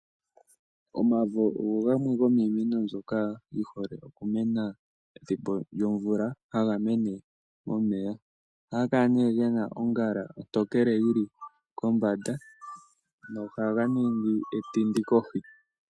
Omavi oge hole okumena pethimbo lyomvula, haga mene momeya. Ohaga kala gena ongala ontokele komanda netindi ohali ningi kohi.